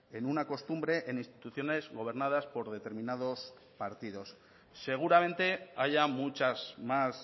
en una costumbre en instituciones gobernadas por determinados partidos seguramente haya muchas más